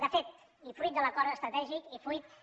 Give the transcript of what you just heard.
de fet i fruit de l’acord estratègic i fruit de